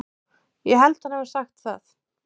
Ég held hann hafi sagt það.